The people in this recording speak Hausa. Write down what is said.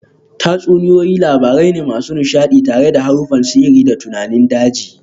Tatsuniyoyi labarai ne masu nishadi tare da haruffan sihiri da tunanin daji